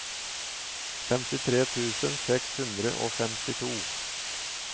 femtitre tusen seks hundre og femtito